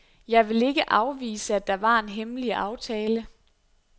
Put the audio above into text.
Jeg vil ikke afvise, at der var en hemmelig aftale.